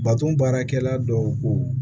Baton baarakɛla dɔw ko